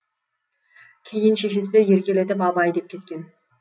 кейін шешесі еркелетіп абай деп кеткен